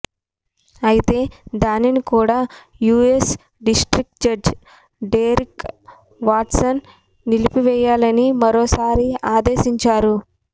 అయితే దానిని కూడా US district judge Derrick Watson నిలిపేయాలని మరోసారి ఆదేశించారు